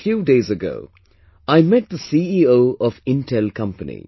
Just a few days ago I met the CEO of Intel company